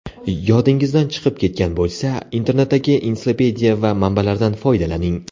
Yodingizdan chiqib ketgan bo‘lsa, internetdagi ensiklopediya va manbalardan foydalaning.